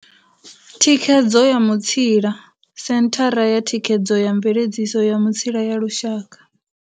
Thikhedzo ya Mutsila Senthara ya Thikhedzo ya Mveledziso ya Mutsila ya Lushaka.